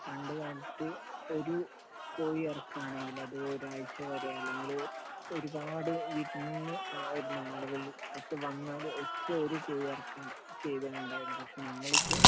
പണ്ടുകാലത്ത് ഒരു കോഴി അറുക്കുകയാണെങ്കിൽ അത് ഒരാഴ്ച വരെ അല്ലെങ്കിൽ ഒരുപാട് വിരുന്നുവരുന്ന ആളുകൾ ഒക്കെ വന്നാൽ ഒറ്റ ഒരു കോഴി അറുക്കുകയാണ് ചെയ്യുകയുണ്ടായിരുന്നത്. പക്ഷെ നമ്മൾ ഇപ്പോൾ